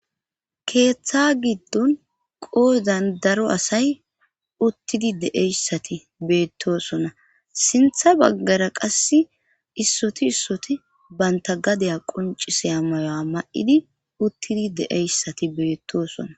keeththa giddon qoozan daro asay uttidi deeyssati beettosona sintha baggara qass issoti issoti banta gadaya qonciseya mayo7a ma7idi uttidi deeyssati beettoosona